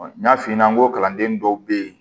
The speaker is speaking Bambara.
N y'a f'i ɲɛna n ko kalanden dɔw bɛ yen